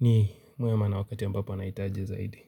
ni mwema na wakati ambapo anahitaji zaidi.